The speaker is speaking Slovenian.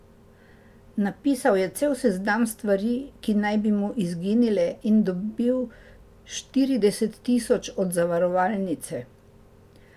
Napisal je cel seznam stvari, ki naj bi mu izginile, in dobil štirideset tisoč od zavarovalnice.